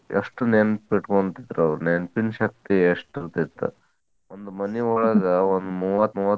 ಎಷ್ಟ್ ನೆನಪಿಟ್ಕೊಂತಿದ್ರ್ ಅವ್ರ ನೆನಪಿನ ಶಕ್ತಿ ಎಷ್ಟ್ ಇರ್ತಿತ್ತ. ಒಂದ್ ಮನಿ ಒಳಗ್ ಒಂದ್ ಮೂವತ್ತ್.